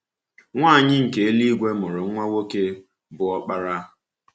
Nwanyị nke eluigwe mụrụ nwa nwoke, bụ́ ọkpara.